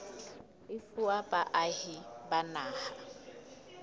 e fuwa baahi ba naha